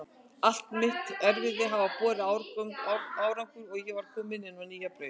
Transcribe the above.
Allt mitt erfiði hafði borið árangur og ég var komin á nýja braut.